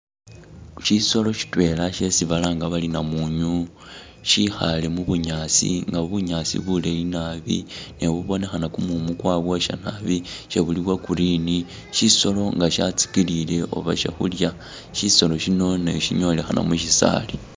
Syisolo sitwell syesi balanga bari namunyu syikhaale mubunyaasi nga bunyaasi buleyi nabi ne bubonekhana kumumu kwa bwosya nabi syebuli bwa green, syisolo nga syatsikilile oba syakhulya syisolo syino syinyolekhana musyisaali